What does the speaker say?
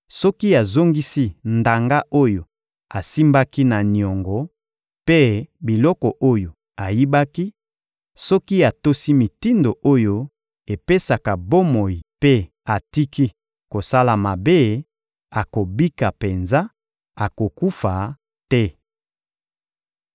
soki azongisi ndanga oyo asimbaki na niongo mpe biloko oyo ayibaki, soki atosi mitindo oyo epesaka bomoi mpe atiki kosala mabe, akobika penza, akokufa te.